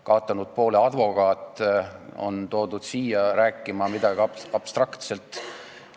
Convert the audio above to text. Kaotanud poole advokaat on toodud siia midagi abstraktselt rääkima.